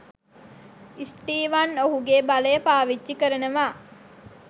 Steven ඔහුගේ බලය පාවිච්චි කරනවා